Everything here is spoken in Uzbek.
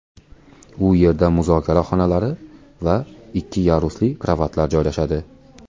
U yerda muzokara xonalari va ikki yarusli karavotlar joylashadi.